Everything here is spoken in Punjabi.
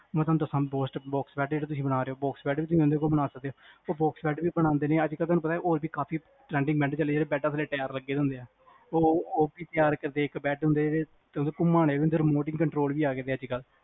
ਮੈ ਤੁਹਾਨੂੰ ਦਸਾ ਅੱਛਾ ਬਾਕਸ ਬੈਡ ਜਿਹੜੇ ਤੁਸੀ ਬਣਾ ਰਹਿਓ ਬਾਕਸ ਬੈਡ ਵੀ ਤੁਸੀ ਉਸ ਬੰਦੇ ਕੋਲੋਂ ਬਣਾ ਸਕਦੇਓ ਉਹ ਬਾਕਸ ਬੈਡ ਵੀ ਬਣਾਂਦੇ ਨੇ, ਅਜਕਲ ਤੁਹਾਨੂੰ ਪਤਾ ਹੋਰ ਵੀ trending ਬੈਡ ਚੱਲਿਆ ਜਿਹੜੇ ਬੈੱਡਆਂ ਥੱਲੇ ਟਾਇਰ ਲਗੇ ਹੁੰਦਿਆਂ ਉਹ ਵੀ ਬੈਡ ਹੁੰਦੇ ਜਿਹੜੇ ਘੁਮਾਣੇ ਵੀ ਹੁੰਦੇ remoting control ਵੀ ਆਗੇ ਨੇ ਅੱਜਕਲ੍ਹ